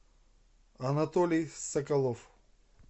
анатолий соколов